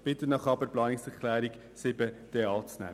Ich bitte Sie aber, die Planungserklärung 7 anzunehmen.